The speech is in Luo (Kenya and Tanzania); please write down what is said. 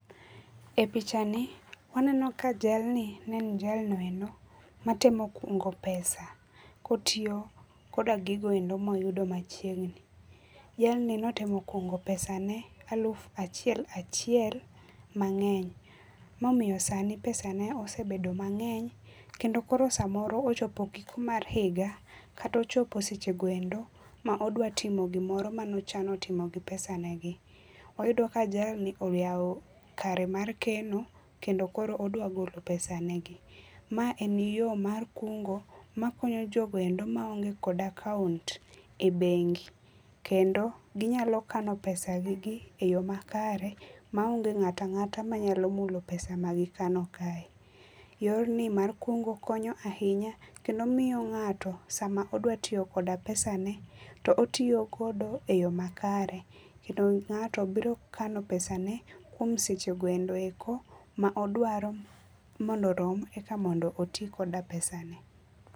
E pichani waneno ka jalni en jalno endo matemo kungo pesa ka otiyo koda gigoendo moyudo machiegni. Jlni notemo kungo pesa ne aluf achiel achiel mangeny momiyo sani pesane osebedo mangeny kendo koro samoro ochopo giko mar higa kata ochopo seche goendo modwa timo gimoro mane ochano timo gi pesa negi. Wayudo ka jalni oyaw kare mar keno kendo koro odwa golo pesa ne gi. Mae en yo mar kungo makonyo jogoendo ma onge kod akaunt e bengi kendo ginyalo kano pesa gi gi e yoo makare maonge ngat angata manyalo mulo pesa ma gikano kae. Yorni mar kungo konyo ahinya kendo miyo ngato sama odwa tiyo koda pesane to otiyo godo e yoo makare kendo ngato biro kano pesane kuom seche goendo eko ma odwaro mondo orom eka mondo otii gi pesane